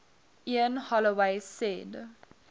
ian holloway said